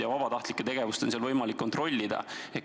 Ja vabatahtlike tegevust on võimalik kontrollida.